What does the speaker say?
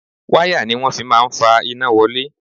Wáyà ni wọ́n fi máa ń fa iná wọlé